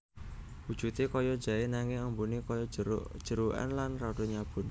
Wujudé kaya jaé nanging ambuné kaya jeruk jerukan lan rada nyabun